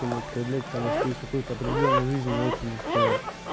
не употреблять потому что есть какой-то определённый жизненный опыт за спиной